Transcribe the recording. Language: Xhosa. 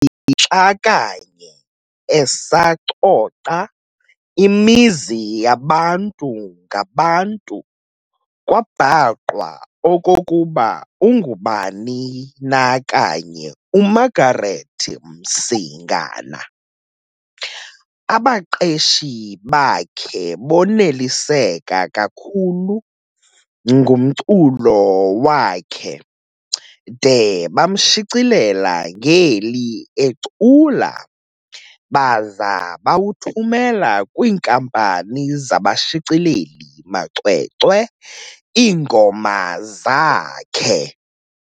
Xa kanye esacoca imizi yabantu ngabantu kwa'bhaqwa' okokuba ungubani na kanye uMargaret Msingana. Abaqeshi bakhe boneliseka kakhulu ngumculo wakhe de bamshicilela ngeli ecula baza bawathumela kwiinkampani zabashicileli-macwecwe iingoma zakhe.